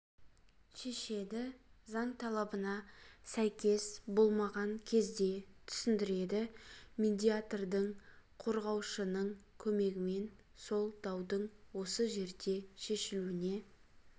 шешеді заң талабына сәйкес болмаған кезде түсіндіреді медиатордың қорғаушының көмегімен сол даудың осы жерде шешілуіне